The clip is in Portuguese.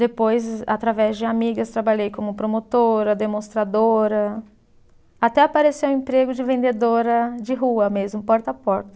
Depois, através de amigas, trabalhei como promotora, demonstradora, até aparecer o emprego de vendedora de rua mesmo, porta a porta.